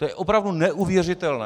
To je opravdu neuvěřitelné!